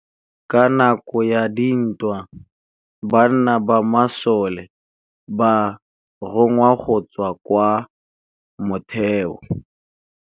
Ka nakô ya dintwa banna ba masole ba rongwa go tswa kwa mothêô.